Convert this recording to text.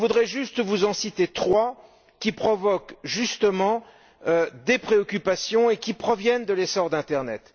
Je voudrais simplement vous en citer trois qui provoquent justement des préoccupations et qui proviennent de l'essor de l'internet.